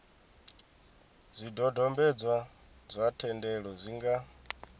zwidodombedzwa zwa thendelo zwi nga